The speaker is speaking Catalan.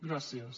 gràcies